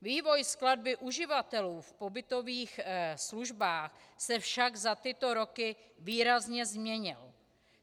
Vývoj skladby uživatelů v pobytových službách se však za tyto roky výrazně změnil.